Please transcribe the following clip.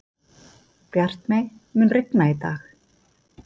Bjartmey, mun rigna í dag?